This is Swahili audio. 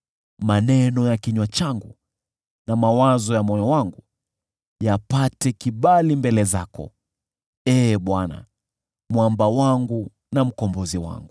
Maneno ya kinywa changu na mawazo ya moyo wangu, yapate kibali mbele zako, Ee Bwana , Mwamba wangu na Mkombozi wangu.